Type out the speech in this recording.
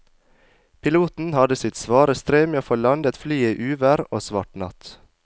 Piloten hadde sitt svare strev med å få landet flyet i uvær og svart natt.